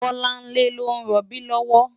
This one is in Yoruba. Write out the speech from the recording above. Bolanle ló n ròbí lòwò